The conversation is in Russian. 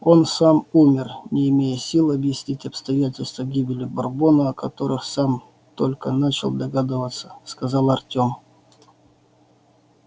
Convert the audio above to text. он сам умер не имея сил объяснить обстоятельства гибели бурбона о которых сам только начал догадываться сказал артём